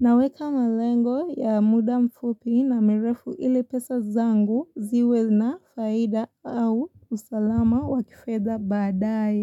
Naweka malengo ya muda mfupi na mrefu ili pesa zangu ziwe na faida au usalama wa kifedha badaye.